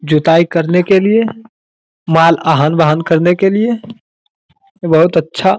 जुताई करने के लिए माल आहन-वाहन करने के लिए बहुत अच्छा --